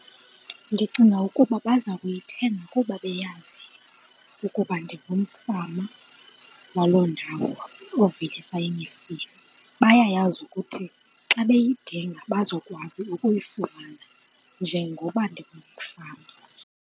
Ndicinga ukuba baza kuyithenga kuba beyazi ukuba ndingumfama waloo ndawo ovelisa imifino. Bayayazi ukuthi xa beyidinga bazokwazi ukuyifumana njengoba ndingumfama.